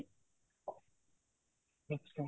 ଆଚ୍ଛା